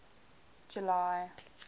july